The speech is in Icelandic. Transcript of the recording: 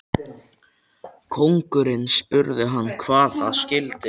Konungurinn spurði hann hvað það skyldi.